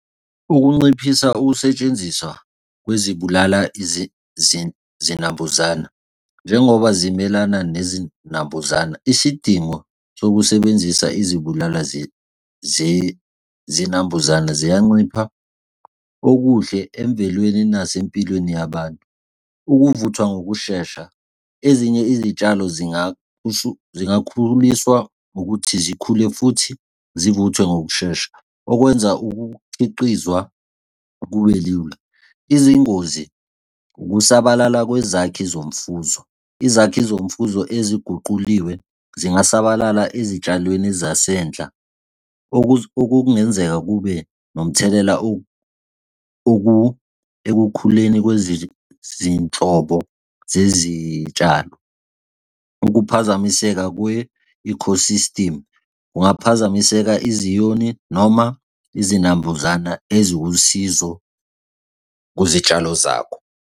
Ukunciphisa ukusetshenziswa kwezibulala zinambuzane, njengoba zimelana nezinambuzana, isidingo sokusebenzisa izibulala zinambuzane ziyancipha okuhle emvelweni kunasempilweni yabantu. Ukuvuthwa ngokushesha, ezinye izitshalo zingakhululiswa ngokuthi zikhule futhi zivuthwe ngokushesha, okwenza ukukhiqizwa kube lula. Izingozi ukusabalala kwezakhi zomfuzo. Izakhi zomfuzo eziguquliwe singasabalala ezitshalweni zasendla, okungenzeka kube nomthelela ekukhuleni kwezinhlobo zezitshalo. Ukuphazamiseka kwe-ecosystem kungaphazamiseka izinyoni noma izinambuzana eziwusizo kwizitshalo zakho.